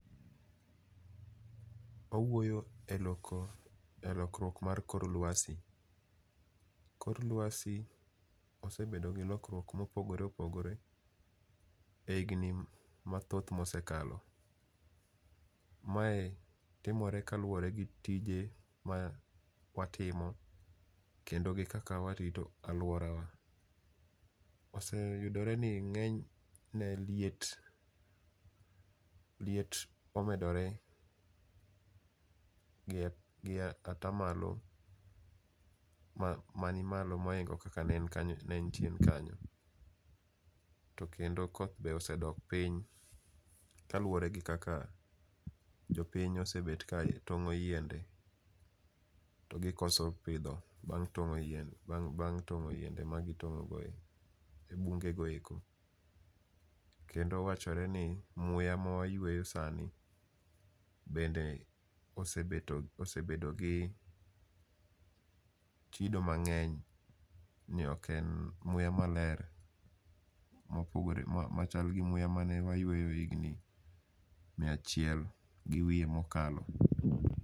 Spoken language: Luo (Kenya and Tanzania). Owuoyo e loko, e lokruok mar kor lwasi. Kor lwasi osebedo gi lokruok mopogore opogore e higni mathoth mosekalo. Mae timore kaluwore gi tije ma watimo, kendo gi kaka warito alworawa. Oseyudore ni ng'enyne liet, liet omedore gi gi ata malo ma mani malo mohingo kaka ne en kanyo ne en chien kanyo. To kendo koth be osedok piny, kaluwore gi kaka jopiny osebet ka tong'o yiende to gikoso pidho bang' tong'o yien, bang' bang' tong'o yiende ma gitong'o e bunge go eko. Kendo wachore ni muya mawayweyo sani bende osebeto osebedo gi chido mang'eny, ni ok en muya maler mopogore machal gi muya mane wayweyo higni mia chiel gi wiye mokalo.